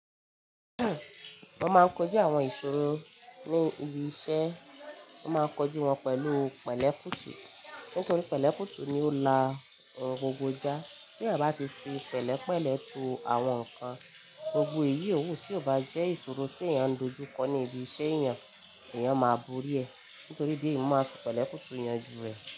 Mo máa ń kojú àwọn ìṣòro ní ibi iṣẹ́, mo máa ń kojú wọn pẹ̀lú pẹ̀lẹ́ kùtù nítorí pẹ̀lẹ́ kùtù ni ó la ohun gbogbo já. Tí èèyàn bá ti fi pẹ̀lẹ́ pẹ̀lẹ́ tú àwọn nǹkan, gbogbo iyì owu tí ò bá jẹ́ ìṣòro tí èèyàn ń dojúkọ ní ibi iṣẹ́ èèyàn, èèyàn má borí ẹ̀ nítorí ìdí èyí mo máa ń fi pẹ̀lẹ́ kùtù yànjú rẹ̀